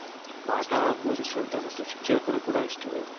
ಪಾಠ ಬೋದಿಸುವಂತ ಒಂದು ಶಿಕ್ಷಕರು ಕೂಡ ಅಷ್ಟೇ